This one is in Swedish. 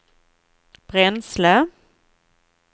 bränsle